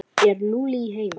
Er Lúlli heima?